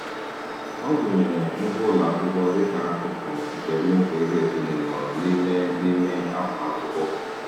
Ọ gụnyere ngwa ụlọ akwụkwọ dịka akụkụ nke mmefu ego ezinụlọ n'ime n'ime afọ akwụkwọ.